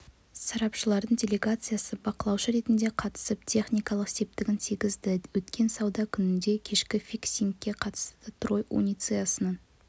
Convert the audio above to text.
сарапшыларының делегациясы бақылаушы ретінде қатысып техникалық септігін тигізді өткен сауда күніндегі кешкі фиксингке қатысты трой унциясының